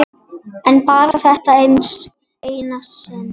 En bara þetta eina sinn.